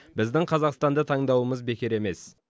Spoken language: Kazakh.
біздің қазақстанды таңдауымыз бекер емес